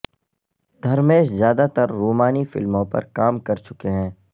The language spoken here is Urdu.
دھرمیش زیادہ تر رومانی فلموں پر کام کر چکے ہیں